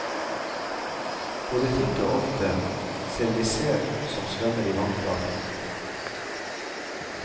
Både titt og ofte ser vi sel som svømmer i vannflata.